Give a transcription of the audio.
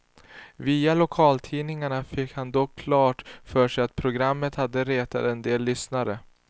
Via lokaltidningarna fick han dock klart för sig att programmet hade retat en del lyssnare.